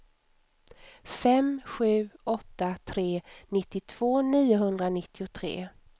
fem sju åtta tre nittiotvå niohundranittiotre